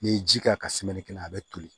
N'i ye ji k'a kan a bɛ toli